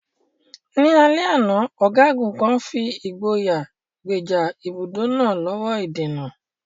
Ní alẹ́ àná, ọ̀gágun kan fi ìgboyà gbèjà ibùdó náà lọ́wọ́ ìdènà.